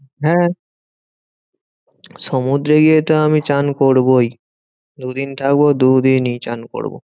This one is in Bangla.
হ্যাঁ সমুদ্রে গিয়ে তো আমিতো চান করবোই। দুদিন থাকবো দুদিনই চান করবো।